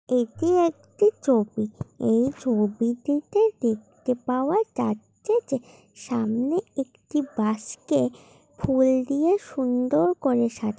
এটা একটি ছবি এই ছবিটিতে দেখতে পাওয়া যাচ্ছে যে সামনে একটি বাস কে ফুল দিয়ে সুন্দর করে সাজা--